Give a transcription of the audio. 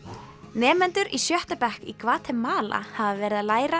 nemendur í sjötta bekk í Gvatemala hafa verið að læra